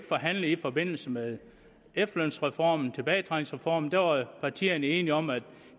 forhandlet i forbindelse med efterlønsreformen tilbagetrækningsreformen der var partierne enige om at